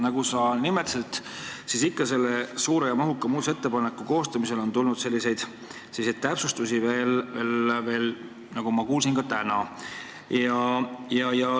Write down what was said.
Nagu sa nimetasid, on selle suure ja mahuka muudatusettepaneku kohta ka täna veel täpsustusi tulnud.